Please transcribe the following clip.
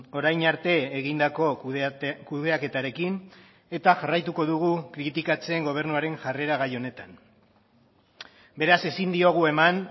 orain arte egindako kudeaketarekin eta jarraituko dugu kritikatzen gobernuaren jarrera gai honetan beraz ezin diogu eman